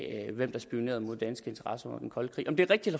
hvem der spionerede mod danske interesser under den kolde krig om det er rigtigt